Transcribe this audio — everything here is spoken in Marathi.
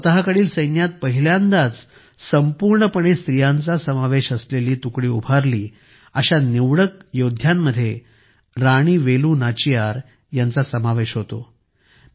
ज्यांनी स्वतःकडील सैन्यात पहिल्यांदाच संपूर्णपणे स्त्रियांचा समावेश असलेली तुकडी उभारली अशा निवडक लोकांमध्ये राणी वेलू नाचियार हिचा समावेश होतो